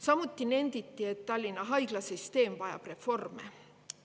Samuti nenditi, et Tallinna haiglasüsteem vajab reformi.